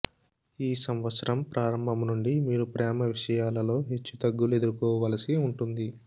ఈ సంవత్సరం ప్రారంభం నుండి మీరు ప్రేమ విషయాలలో హెచ్చు తగ్గులు ఎదుర్కోవలసి ఉంటుంది